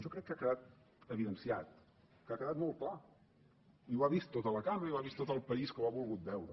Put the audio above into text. jo crec que ha quedat evidenciat que ha quedat molt clar i ho ha vist tota la cambra i ho ha vist tot el país que ho ha volgut veure